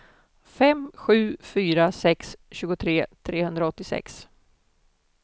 fem sju fyra sex tjugotre trehundraåttiosex